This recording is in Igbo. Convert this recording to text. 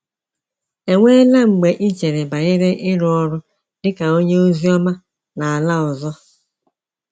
Enweela mgbe i chere banyere ịrụ ọrụ dị ka ka onye ozioma n’ala ọzọ?